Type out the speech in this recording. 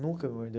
Nunca me mordeu.